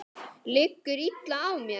Liggur illa á mér?